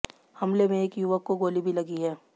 हमले में एक युवक को गोली भी लगी है